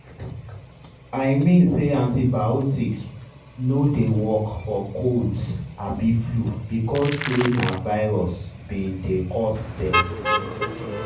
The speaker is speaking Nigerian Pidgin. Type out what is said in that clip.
i mean say antibiotics no dey work for colds abi flu because say na virus bin dey cause dem.